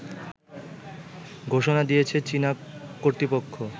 ঘোষণা দিয়েছে চীনা কর্তৃপক্ষ